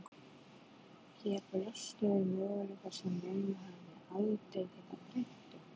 Hér blöstu við möguleikar sem mömmu hefði aldrei getað dreymt um.